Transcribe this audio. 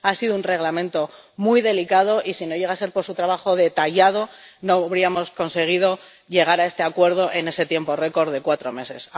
Ha sido un Reglamento muy delicado y, si no llega a ser por su trabajo detallado, no habríamos conseguido llegar a este acuerdo en ese tiempo récord de cuatro meses.